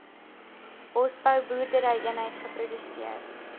bosbou boerderyeenheid geproduseer